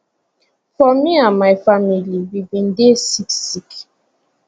for me and my family we bin dey sick sick